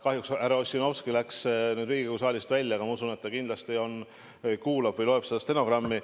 Kahjuks läks härra Ossinovski Riigikogu saalist välja, aga ma usun, et ta kindlasti kuulab ülekannet või loeb stenogrammi.